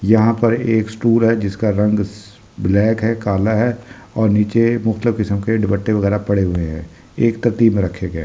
यहाँ पर एक स्टूल है जिसका रंग ब्लैक है काला है और नीछे मुफ्रातलब किसम के दुपट्टे वगेरा पड़े हुए है एक दत्ती में रखे गये है ।